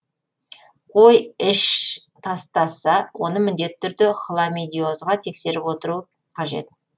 қой іш тастаса оны міндетті түрде хламидиозға тексеріп отыру қажет